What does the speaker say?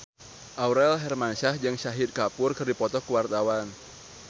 Aurel Hermansyah jeung Shahid Kapoor keur dipoto ku wartawan